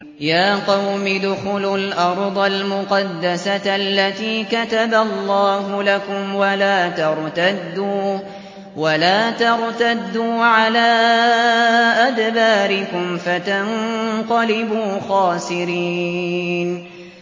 يَا قَوْمِ ادْخُلُوا الْأَرْضَ الْمُقَدَّسَةَ الَّتِي كَتَبَ اللَّهُ لَكُمْ وَلَا تَرْتَدُّوا عَلَىٰ أَدْبَارِكُمْ فَتَنقَلِبُوا خَاسِرِينَ